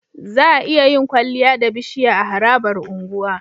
Za'a iya yin kwaliya da bishiya a harabar unguwa